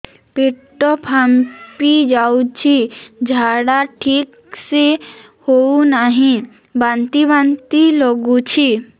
ପେଟ ଫାମ୍ପି ଯାଉଛି ଝାଡା ଠିକ ସେ ହଉନାହିଁ ବାନ୍ତି ବାନ୍ତି ଲଗୁଛି